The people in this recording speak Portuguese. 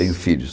Tenho filhos.